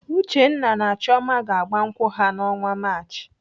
Uchenna na Chioma ga-agba nkwụ ha n'ọnwa Maachị.